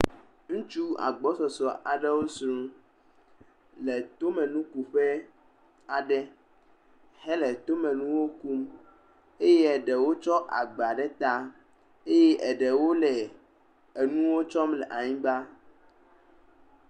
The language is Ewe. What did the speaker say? Ŋutsu agbɔsɔsɔ aɖewo si nu le tomenukuƒe aɖe hele tomenuwo kum. Eye ɖewo tsɔ agba ɖe ta. Eye eɖewo le enuwo tsɔm le anyigba.